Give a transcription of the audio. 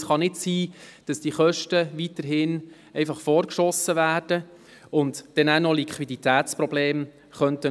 Es kann nicht sein, dass diese Kosten weiterhin vorgeschossen werden und deswegen möglicherweise Liquiditätsprobleme auftreten.